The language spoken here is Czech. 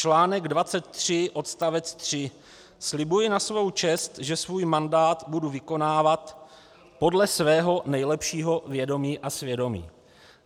Článek 23 odst. 3: "Slibuji na svou čest, že svůj mandát budu vykonávat podle svého nejlepšího vědomí a svědomí."